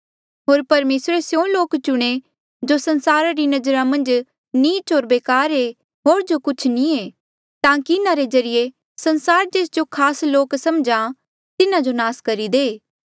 होर परमेसरे स्यों लोक चुणे जो संसारा री नजरा मन्झ नीच होर बेकार ऐें होर जो कुछ भी नी ऐें ताकि इन्हारे ज्रीए संसार जेस जो खास लोक समझा तिन्हा जो नास करी दे